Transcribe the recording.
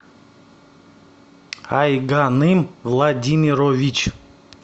айганым владимирович